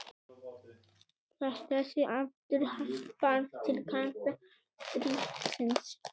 Þetta sé afturhvarf til kalda stríðsins